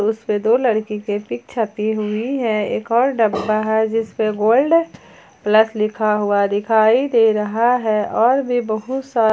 उसपे दो लड़की के पिक छपी हुई है एक और डब्बा है जिस पे गोल्ड प्लस लिखा हुआ दिखाई दे रहा है और भी बहुत सा--